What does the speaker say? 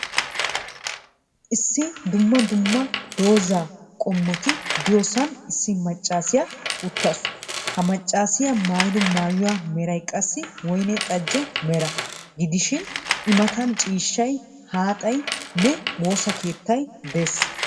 Issi dumma dumma dozaa qommoti de'iyoosan issi maccaasiya uttaasu. Ha maccaasiya maayido maayuwa meray qassi woyne xejje mera gidishin I mattan ciishshay laattaynne woossa uttay de'ees.